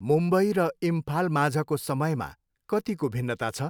मुम्बई र इम्फालमाझको समयमा कतिको भिन्नता छ?